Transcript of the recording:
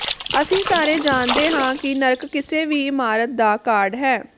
ਅਸੀਂ ਸਾਰੇ ਜਾਣਦੇ ਹਾਂ ਕਿ ਨਰਕ ਕਿਸੇ ਵੀ ਇਮਾਰਤ ਦਾ ਕਾਰਡ ਹੈ